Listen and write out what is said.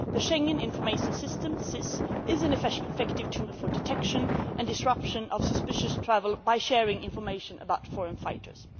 The Schengen Information System is an effective tool for the detection and disruption of suspicious travel by sharing information about foreign fighters.